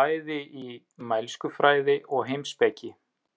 bæði í mælskufræði og heimspeki.